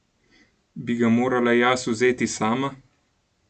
Bi ga morala jaz vzeti sama?